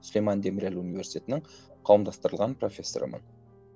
сулейман демирель университетінің қауымдастырылған профессорымын